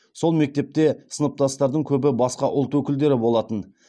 сол мектепте сыныптастардың көбі басқа ұлт өкілдері болатын